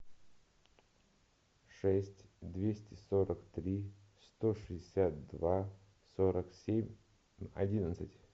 шесть двести сорок три сто шестьдесят два сорок семь одиннадцать